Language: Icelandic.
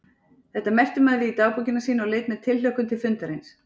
Þetta merkti maður við í dagbókina sína og leit með tilhlökkun til fundarins.